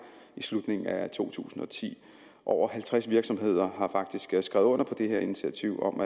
i slutningen af to tusind og ti over halvtreds virksomheder har faktisk skrevet under på det her initiativ om